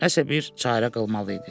Nəsə bir çarə qılmalı idi.